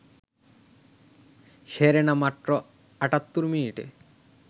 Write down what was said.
Serena মাত্র ৭৮ মিনিটে